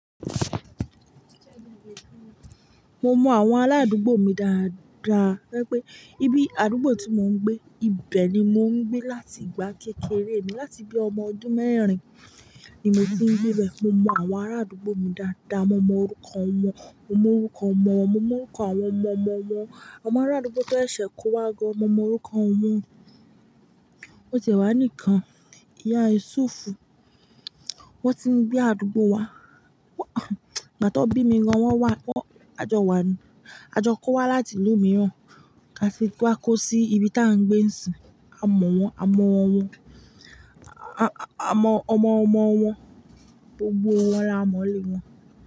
Mo mọ àwọn aládùúgbò mi dáadáa tó ẹ́ pé ibi àdúgbò tí mò ń gbé, ibẹ̀ ni mò ń gbé láti ìgbà kékeré mi. Láti bí ọmọ ọdún mẹ́rin ni mo ti ń gbé bẹ̀. Mo mọ àwọn arádùúgbò mi dáadáa, mo mọ orúkọ wọn, mo mọ orúkọ ọmọ wọn, mo mọ orúkọ àwọn ọmọ ọmọ wọn. Ọmọ arádúgbò tó ṣẹ̀ kó wá gán mò mọ orúkọ wọn ò ti ẹ̀ wá nìkan. Ìyá Yúsúùfù, wọ́n ti ń gbé àdúgbò wa, ìgbà tan bí mi gan wọ́n wà. Àjọ wa ni, àjọ kó wa láti ìlú mìíràn láti wá kó sí ibi tí à ń gbé n sìn a mọ̀ wọ́n, a mọ̀ wọn, a mọ ọmọ ọmọ wọn, gbogbo wọn la mọ̀ nilé wọn.